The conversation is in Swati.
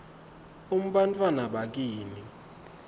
um bantfwana bakini